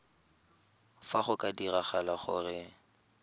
fa go ka diragala gore